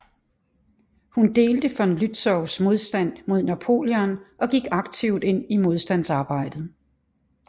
Hun delte von Lützows modstand mod Napoleon og gik aktivt ind i modstandsarbejdet